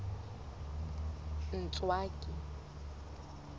ntswaki